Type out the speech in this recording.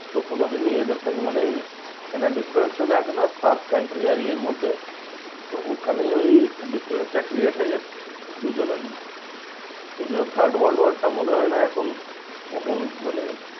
তো কোনোদিনই এদের সঙ্গে মানে ঐ একটা difference চলে আসে না? per country আর ইয়ের মধ্যে তো ওখানে ওই difference টা create হয়ে যাচ্ছে দুজনের মধ্যে। সেই জন্য third world war টা মনে হয় না এখন কখন মানে